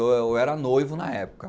Eu era noivo na época.